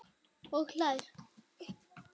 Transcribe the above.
Og hlær.